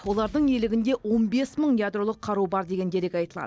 олардың иелігінде он бес мың ядролық қару бар деген дерек айтылады